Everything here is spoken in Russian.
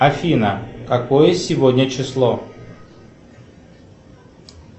афина какое сегодня число